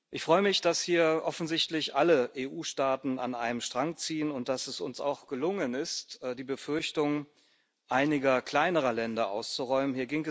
Ich freue mich, dass hier offensichtlich alle EU-Staaten an einem Strang ziehen und dass es uns auch gelungen ist, die Befürchtung einiger kleinerer Länder auszuräumen.